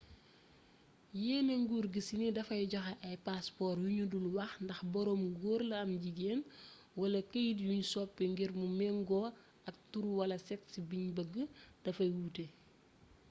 yéene nguur gi ci ni dafay joxe ay passeport yu ñu dul wax ndax boroom góor la am jigéen x wala këyit yuñ soppi ngir mu méngoo ak tur wala sexe biñ bëgg dafay wuute